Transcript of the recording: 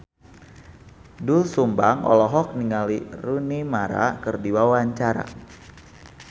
Doel Sumbang olohok ningali Rooney Mara keur diwawancara